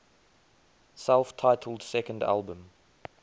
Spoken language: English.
self titled second album